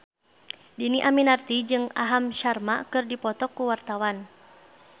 Dhini Aminarti jeung Aham Sharma keur dipoto ku wartawan